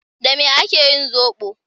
Da me ake yin zoɓo?